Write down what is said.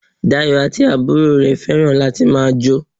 Dayọ̀ àti àbúrò rẹ̀ fẹ́ràn láti ma jo